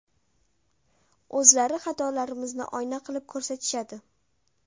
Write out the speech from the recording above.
O‘zlari xatolarimizni oyna qilib ko‘rsatishadi.